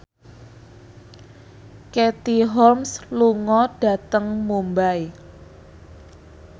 Katie Holmes lunga dhateng Mumbai